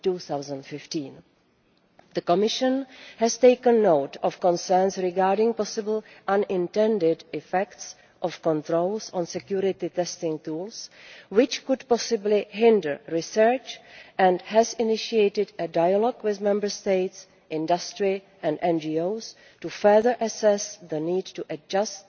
2015. The Commission has taken note of concerns regarding possible unintended effects of controls on security testing tools which could possibly hinder research and has initiated dialogue with Member States, industry and NGOs to further assess the need to adjust